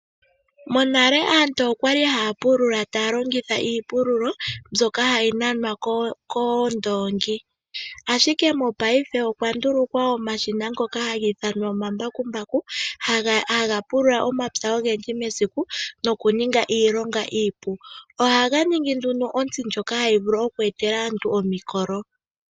Monale aantu okwali haya longitha uupululo mboka hayi nanwa koondongi ashike, mo paife okwa ndulukwa omashina ngoka ha giithanwa omambakumbaku haga pulula omapya ogendji mesiku nokuninga iilonga iipu. Oha ga ningi nduno otsi ndjoka hayi vulu oku etela aantu omikolo.